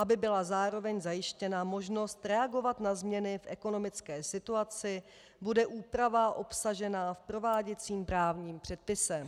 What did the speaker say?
Aby byla zároveň zajištěna možnost reagovat na změny v ekonomické situaci, bude úprava obsažená v prováděcím právním předpise.